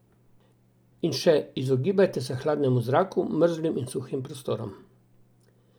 In še, izogibajte se hladnemu zraku, mrzlim in suhim prostorom.